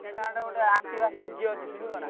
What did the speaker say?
ତାହେଲେ ଗୋଟେ Activa CG ଅଛି କିଣିବ ନା?